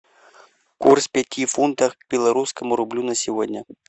курс пяти фунтов к белорусскому рублю на сегодня